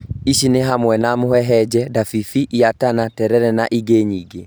Ici nĩ hamwe na mũhehenje, ndabibi, lantana, terere, na ingĩ nyingĩ